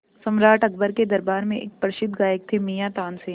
सम्राट अकबर के दरबार में एक प्रसिद्ध गायक थे मियाँ तानसेन